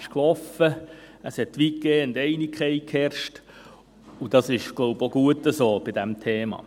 Es herrschte weitgehend Einigkeit, und dies ist bei diesem Thema auch gut so.